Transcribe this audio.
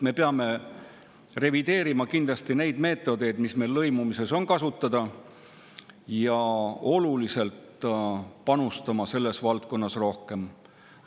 Me peame kindlasti revideerima neid meetodeid, mis meil lõimumises on kasutada, ja panustama sellesse valdkonda rohkem.